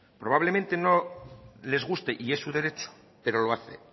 probablemente no les guste y es su derecho pero lo hace